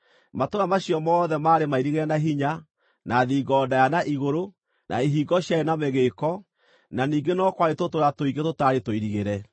Matũũra macio mothe maarĩ mairigĩre na hinya, na thingo ndaaya na igũrũ, na ihingo ciarĩ na mĩgĩĩko, na ningĩ no kwarĩ tũtũũra tũingĩ tũtaarĩ tũirigĩre.